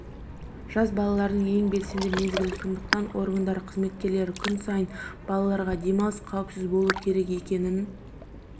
жаз балардың ең белсенді мезгілі сондықтан органдары қызметкерлері күн сайын балаларға демалыс қауіпсіз болуы керек екененің